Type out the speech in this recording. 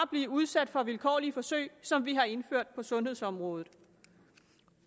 blive udsat for vilkårlige forsøg som vi har indført på sundhedsområdet